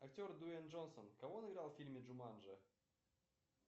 актер дуэйн джонсон кого он играл в фильме джуманджи